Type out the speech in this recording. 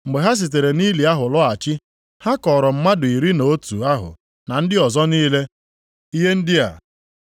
Mgbe ha sitere nʼili ahụ lọghachi, ha kọọrọ mmadụ iri na otu ahụ na ndị ọzọ niile ihe ndị a.